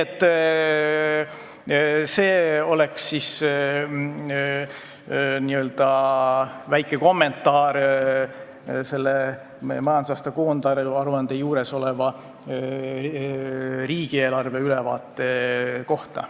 See oleks väike kommentaar majandusaasta koondaruande juures oleva riigieelarve ülevaate kohta.